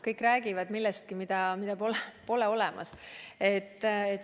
Kõik räägivad millestki, mida pole olemas.